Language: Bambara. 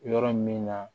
Yɔrɔ min na